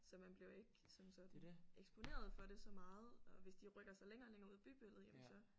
Så man bliver jo ikke som sådan eksponeret for det så meget og hvis de rykker sig længere og længere ud af bybilledet jamen så